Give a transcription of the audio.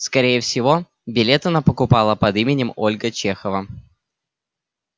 скорее всего билет она покупала под именем ольга чехова